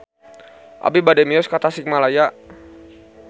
Abi bade mios ka Tasikmalaya